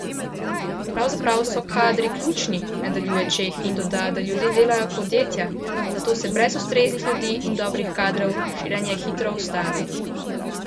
Pravzaprav so kadri ključni, nadaljuje Čeh in doda, da ljudje delajo podjetja, zato se brez ustreznih ljudi in dobrih kadrov širjenje hitro ustavi.